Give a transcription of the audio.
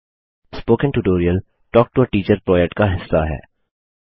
spoken tutorial talk to a teacher project का हिस्सा है